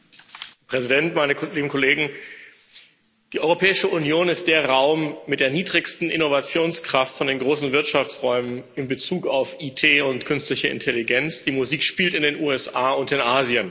Herr Präsident! Meine lieben Kollegen, die Europäische Union ist der Raum mit der niedrigsten Innovationskraft von den großen Wirtschaftsräumen in Bezug auf IT und künstliche Intelligenz. Die Musik spielt in den USA und in Asien.